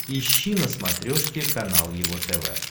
ищи на смотрешке канал его тв